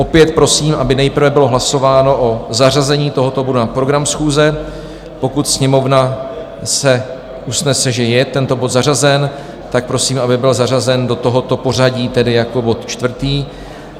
Opět prosím, aby nejprve bylo hlasováno o zařazení tohoto bodu na program schůze, pokud Sněmovna se usnese, že je tento bod zařazen, tak prosím, aby byl zařazen do tohoto pořadí, tedy jako bod čtvrtý.